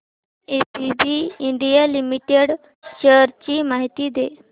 ABB India limited shares ची माहिती दे